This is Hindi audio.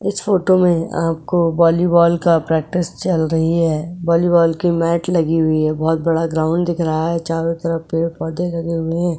इस फोटो में आपको वॉलीबॉल का प्रैक्टिस चल रही है वॉलीबॉल की मॅट लगी हुई है बहुत बड़ा ग्राउंड दिख रहा है चारों तरफ पेड़ पौधे लगे हुए हैं।